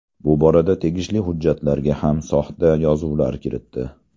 Bu borada tegishli hujjatlarga ham soxta yozuvlar kiritdi.